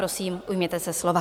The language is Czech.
Prosím, ujměte se slova.